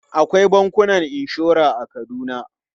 Akwai bankunan inshora a Kaduna.